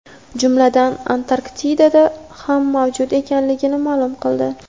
jumladan Antarktidada ham mavjud ekanligini ma’lum qildi.